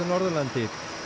Norðurlandi